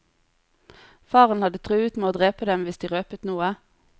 Faren hadde truet med å drepe dem hvis de røpet noe.